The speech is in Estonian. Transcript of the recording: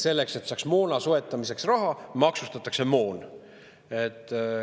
Selleks, et saaks moona soetamiseks raha, maksustatakse moon.